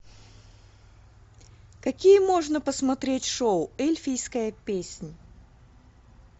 какие можно посмотреть шоу эльфийская песнь